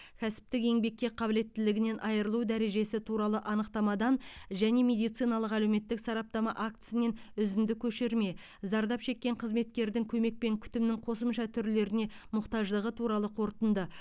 кәсіптік еңбекке қабілеттілігінен айырылу дәрежесі туралы анықтамадан және медициналық әлеуметтік сараптама актісінен үзінді көшірме зардап шеккен қызметкердің көмек пен күтімнің қосымша түрлеріне мұқтаждығы туралы қорытынды